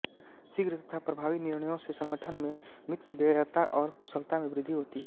शीघ्र तथा प्रभावी निर्णयों से संगठन में मितव्ययता और कुशलता में वृद्धि होती है